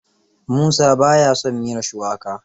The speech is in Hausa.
Musa ba ya son miyar shuwaka.